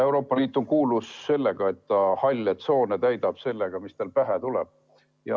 Euroopa Liit on kuulus selle poolest, et ta halle tsoone täidab sellega, mis talle pähe tuleb.